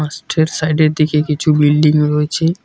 লাস্টের সাইডের দিকে কিছু বিল্ডিং রয়েছে।